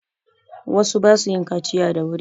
Wasu ba su yin kaciya da wuri.